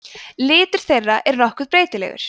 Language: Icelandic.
litur þeirra er nokkuð breytilegur